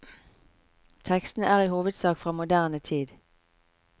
Tekstene er i hovedsak fra moderne tid.